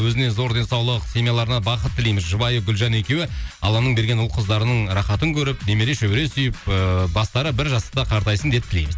өзіне зор денсаулық семьяларына бақыт тілейміз жұбайы гүлжан екеуі алланың берген ұл қыздарының рахатын көріп немере шөбере сүйіп ыыы бастары бір жастықта қартайсын деп тілейміз